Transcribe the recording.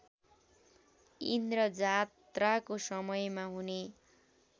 इन्द्रजात्राको समयमा हुने